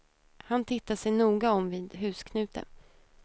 Han tittar sig noga om vid husknuten.